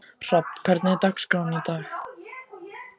Hrafn, hvernig er dagskráin í dag?